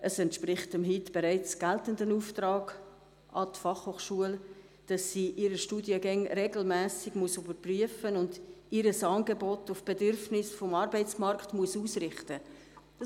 Es entspricht dem bereits heute geltenden Auftrag an die BFH, dass sie ihre Studiengänge regelmässig überprüfen und ihr Angebot auf die Bedürfnisse des Arbeitsmarkts ausrichten muss.